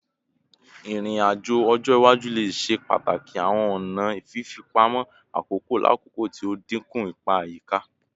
Irin-ajo ọjọ iwaju le ṣe pataki awọn ọna fifipamọ akoko lakoko ti o dinku ipa ayika